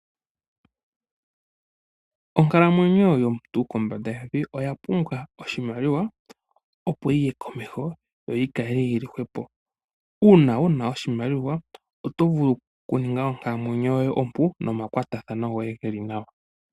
Onkalamwenyo yomuntu kombanda yevi oyapumbwa oshimaliwa opoyiye komeho yoyikale yili hwepo. Uuna una oshimaliwa otovulu okuninga onkalamwenyo yoye ompu nomakwatathano goye geli nawa..